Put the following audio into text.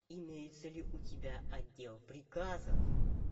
имеется ли у тебя отдел приказов